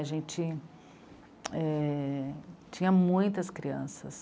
A gente, é... tinha muitas crianças.